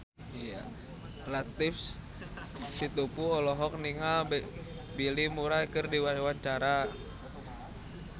Latief Sitepu olohok ningali Bill Murray keur diwawancara